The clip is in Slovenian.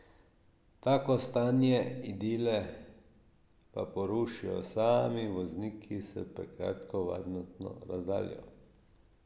Tako stanje idile pa porušijo sami vozniki s prekratko varnostno razdaljo.